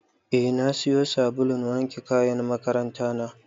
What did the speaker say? Eh na siyo sabulun wanke kayan makaranta na.